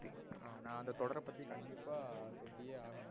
ஆஹ் நா அந்த தொடர பத்தி கண்டிப்பா சொல்லியே ஆகனோம்.